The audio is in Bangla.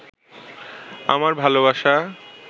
আমার ভালবাসা